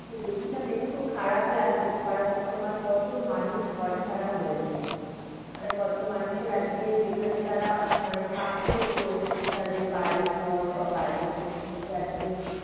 দেখছিলাম, দেখে ‍খুব খারাপ লাগছিল। কারণ তোমার কত মানুষ ঘর ছাড়া হয়েছে, মানে কত মানুষের আজকে যেখানে তারা মানে থাকছে পুরো তাদের বাড়ি ঘর সব আছে সেখান থেকে আজকে,